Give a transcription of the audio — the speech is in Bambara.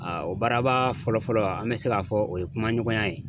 Aa o baara ba fɔlɔ fɔlɔ an mɛ se k'a fɔ o ye kuma ɲɔgɔnya ye.